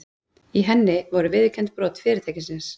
Í henni voru viðurkennd brot fyrirtækisins